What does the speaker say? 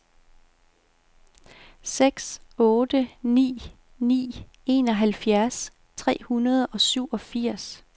seks otte ni ni enoghalvfjerds tre hundrede og syvogfirs